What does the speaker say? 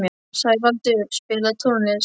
Sævaldur, spilaðu tónlist.